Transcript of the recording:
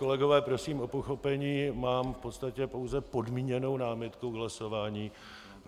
Kolegové, prosím o pochopení, mám v podstatě pouze podmíněnou námitku k hlasování.